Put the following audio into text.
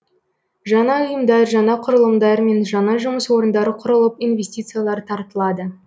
жаңа ұйымдар жаңа құрылымдар мен жаңа жұмыс орындары құрылып инвестициялар тартылады